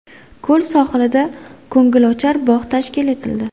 Ko‘l sohilida ko‘ngilochar bog‘ tashkil etildi.